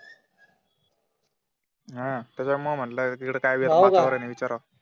हम्म म्हटलं तिकडे काय वातावरण आहे विचारावं